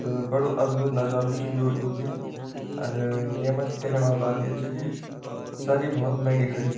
त बडो अद्भुत नजारू च यु यूभी अर येमा दिखणा वाल बात यि च की सारी भौत महंगी खड़ी छ।